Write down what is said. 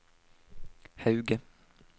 Hauge